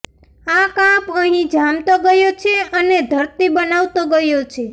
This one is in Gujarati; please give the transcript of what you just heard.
એ કાંપ અહીં જામતો ગયો છે અને ધરતી બનાવતો ગયો છે